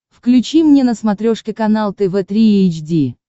включи мне на смотрешке канал тв три эйч ди